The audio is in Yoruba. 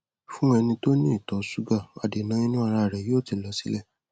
fún ẹni tó ní ìtọ ṣúgà adèǹà inú ara rẹ yóò ti lọ sílẹ